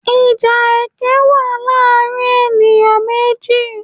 Ìjà ẹkẹ́ wa láàrin ènìyãn méjì